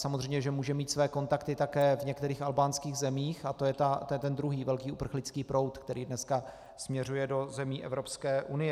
Samozřejmě že může mít své kontakty také v některých albánských zemích a to je ten druhý velký uprchlický proud, který dneska směřuje do zemí Evropské unie.